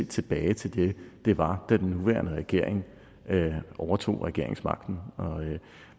tilbage til det det var da den nuværende regering overtog regeringsmagten og